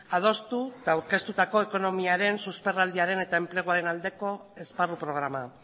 adostu eta aurkeztutako ekonomiaren susperraldiaren eta enpleguaren aldeko esparru programa